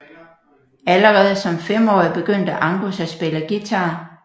Allerede som femårig begyndte Angus at spille guitar